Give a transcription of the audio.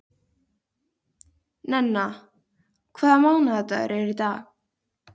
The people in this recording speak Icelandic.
Nenna, hvaða mánaðardagur er í dag?